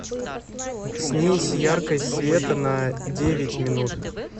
снизь яркость света на девять минут